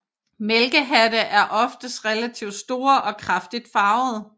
Mælkehatte er oftest relativt store og kraftigt farvede